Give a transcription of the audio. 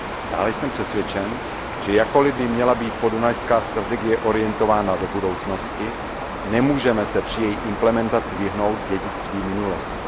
Dále jsem přesvědčen, že jakkoli by měla být podunajská strategie orientována do budoucnosti, nemůžeme se při její implementaci vyhnout dědictví minulosti.